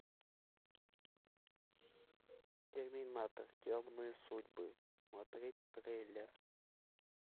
терминатор темные судьбы смотреть трейлер